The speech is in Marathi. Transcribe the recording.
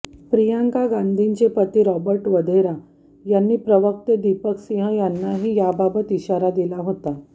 प्रियंका गांधींचे पती रॉबर्ट वढेरा आणि प्रवक्ते दीपक सिंह यांनीही याबाबत इशारा दिला होता